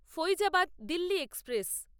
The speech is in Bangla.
ফাইজাবাদ দিল্লী এক্সপ্রেস